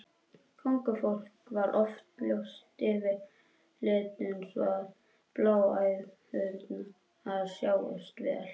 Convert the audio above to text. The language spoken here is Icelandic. Kóngafólk var oft ljóst yfirlitum svo að bláæðarnar sáust vel.